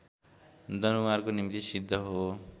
दनुवारको निम्ति सिद्ध हो